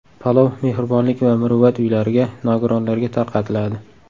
Palov Mehribonlik va Muruvvat uylariga, nogironlarga tarqatiladi.